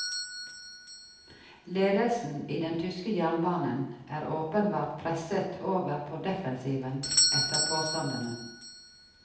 Ledelsen i den tyske jernbanen er åpenbart presset over på defensiven etter påstandene.